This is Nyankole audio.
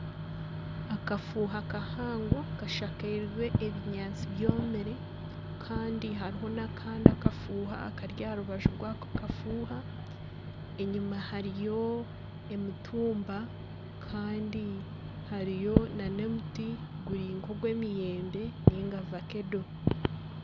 Akafuuha kahango kashakirwe ebinyaatsi byomire kandi hariho n'akandi akafuuhu akari aha rubaju rwako kafuuha enyuma hariyo emitumba kandi hariyo na n'omuti guri nka ogw'emiyembe niga vakedo.